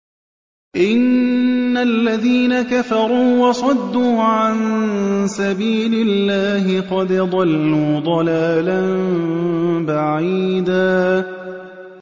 إِنَّ الَّذِينَ كَفَرُوا وَصَدُّوا عَن سَبِيلِ اللَّهِ قَدْ ضَلُّوا ضَلَالًا بَعِيدًا